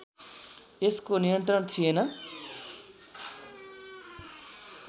यसको नियन्त्रण थिएन